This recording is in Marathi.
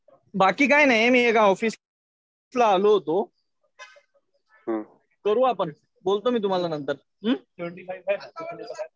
बाकी काही नाही. मी एका ऑफिसला आलो होतो. करू आपण बोलतो मी तुम्हाला नंतर. हम्म.